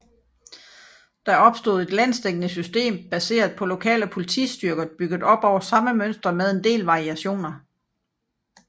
Der opstod et landsdækkende system baseret på lokale politistyrker bygget op over samme mønster med en del variationer